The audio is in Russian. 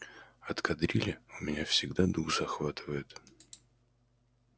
от кадрили у меня всегда дух захватывает